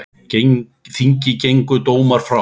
Þingi gengu dómar frá.